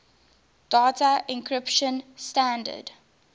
data encryption standard